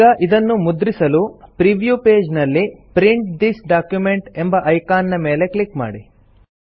ಈಗ ಇದನ್ನು ಮುದ್ರಿಸಲು ಪ್ರೀವ್ಯೂ ಪೇಜ್ ನಲ್ಲಿ ಪ್ರಿಂಟ್ ಥಿಸ್ ಡಾಕ್ಯುಮೆಂಟ್ ಎಂಬ ಐಕಾನ್ ನ ಮೇಲೆ ಕ್ಲಿಕ್ ಮಾಡಿ